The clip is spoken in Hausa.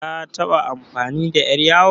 Ka taɓa amfani da ƴar yawon?